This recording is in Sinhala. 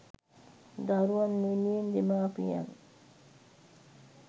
දරුවන් වෙනුවෙන් දෙමාපියන්